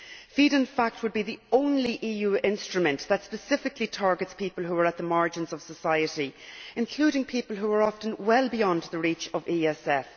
FEAD would, in fact, be the only EU instrument that specifically targets people who are on the margins of society, including people who are often well beyond the reach of the ESF.